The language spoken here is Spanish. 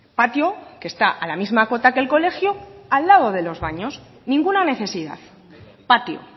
patio que está a la misma cota que el colegio al lado de los baños ninguna necesidad patio